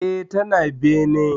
E, tana bene.